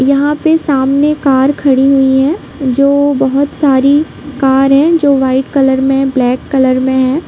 यहाँ पे सामने कार खड़ी हुई हैं जो बहुत सारी कार है जो वाइट कलर में ब्लैक कलर में हैं।